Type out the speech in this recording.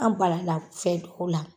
An bala la fɛn dɔw la.